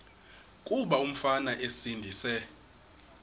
kuba umfana esindise